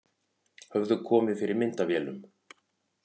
Höfðu komið fyrir myndavélum